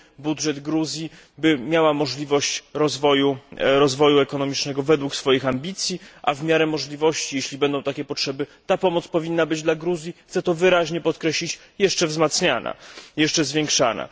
budżet Gruzji, by miała możliwość rozwoju ekonomicznego według swoich ambicji, a w miary możliwości, jeśli będą takie potrzeby, ta pomoc powinna być dla Gruzji chcę to wyraźnie podkreślić jeszcze zwiększana.